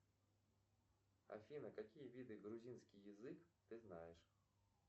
афина какие виды грузинский язык ты знаешь